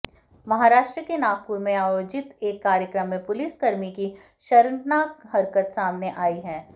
महाराष्ट्र के नागपुर में आयोजित एक कार्यक्रम में पुलिसकर्मी की शर्मनाक हरकत सामने आई है